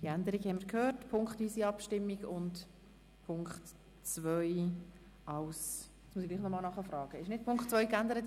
Wir haben diese Änderung gehört, das heisst punktweise Abstimmung: Punkt 1 als Postulat, und Punkt 2 bleibt eine Motion.